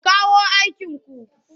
Ku kawo aikinku!